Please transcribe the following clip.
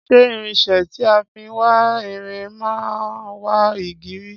Ṣé irinsé tí a fin wá irin man wá igi rí